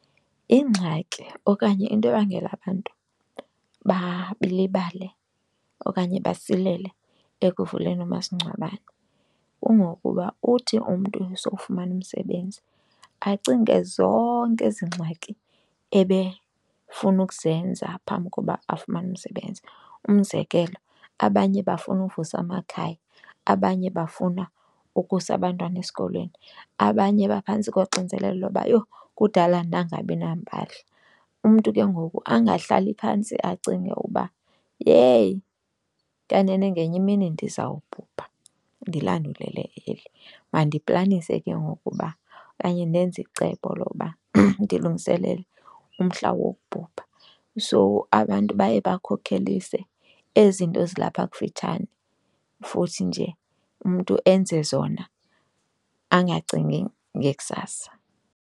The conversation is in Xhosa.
Ingxaki okanye into ebangela abantu balibale okanye basilele ekuvuleni umasingcwabane kungokuba uthi umntu esokufumana umsebenzi acinge zonke ezi ngxaki ebefuna ukuzenza phambi koba afumane umsebenzi. Umzekelo, abanye bafuna uvusa amakhaya, abanye bafuna ukusa abantwana esikolweni, abanye baphantsi koxinzelelo loba yho kudala ndangabi nampahla. Umntu ke ngoku angahlali phantsi acinge uba yheyi kanene ngenye imini ndizawubhubha ndilandulele eli, mandiplanise ke ngoku uba okanye ndenze icebo lokuba ndilungiselele umhla wokubhubha. So abantu baye bakhokhelise ezi zinto zilapha kufitshane futhi nje umntu enze zona angacingi ngekusasa.